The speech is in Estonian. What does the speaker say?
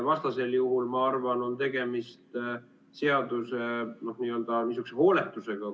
Vastasel juhul, ma arvan, on tegemist seaduse n-ö hooletusega.